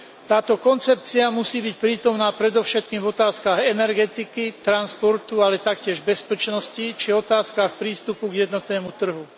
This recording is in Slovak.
Táto koncepcia musí byť prítomná predovšetkým v otázkach energetiky, transportu, ale taktiež bezpečnosti, či v otázkach prístupu k jednotnému trhu.